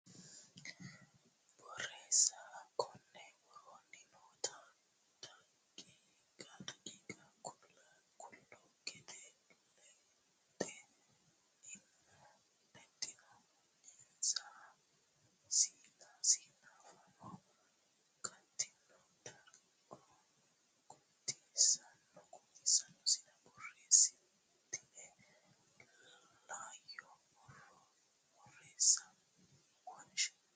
Borreessa konni woroonni noota daqiiqa qaaqquullu godo le xe ino sinna fano gatino darga guutisanno sinna borreessitine Isayyo Borreessa wonshe.